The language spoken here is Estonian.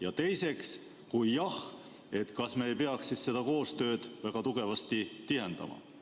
Ja teiseks, kui jah, siis kas me ei peaks siis seda koostööd väga tugevasti tihendama?